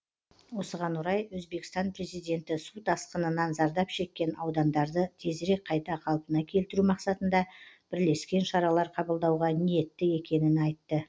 осыған орай өзбекстан президенті су тасқынынан зардап шеккен аудандарды тезірек қайта қалпына келтіру мақсатында бірлескен шаралар қабылдауға ниетті екенін айтты